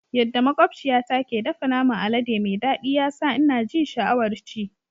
Yadda makwabciyata ke dafa naman alade mai daɗi ya sa ina ji sha'awar ci.